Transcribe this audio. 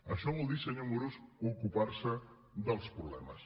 això vol dir senyor amorós ocupar se dels problemes